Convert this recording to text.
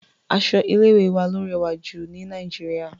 Aṣọ ilé ìwé wa ló rẹwà jù ní Nàìjíríà..